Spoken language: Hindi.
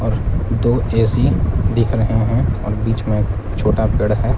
और दो ए_सी दिख रहे हैं और बीच में छोटा पेड़ है।